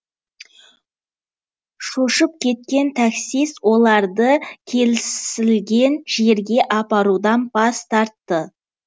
шошып кеткен таксист оларды келісілген жерге апарудан бас тартты